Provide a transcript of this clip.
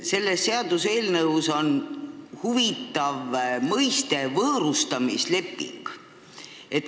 Selles seaduseelnõus on huvitav mõiste "võõrustamisleping".